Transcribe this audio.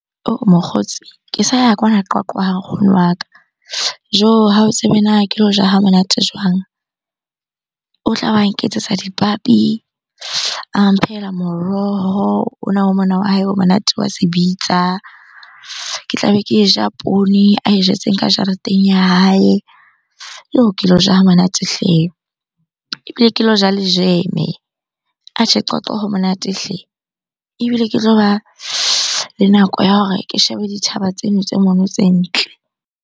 Mokgotsi, ke sa ya kwana Qwaqwa ha nkgono wa ka. Joh! Ha o tsebe na ke lo ja ha monate jwang? O tla ba nketsetsa dipabi, a mphehela moroho ona wa mona wa hae o monate wa se bitsa. Ke tlabe ke e ja poone ae jetseng ka jareteng ya hae. Yoh! Ke lo ja ha monate hle! Ebile ke lo ja le jam-e. Atjhe, Qwaqwa ho monate hle! Ebile ke tloba le nako ya hore ke shebe dithaba tseno tse mono tse ntle.